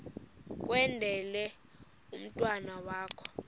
kwendele umntwana wakho